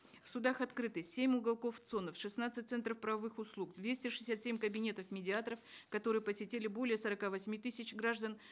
в судах открыты семь уголков цон ов шестнадцать центров правовых услуг двести шестьдесят семь кабинетов медиаторов которые посетили более сорока восьми тысяч граждан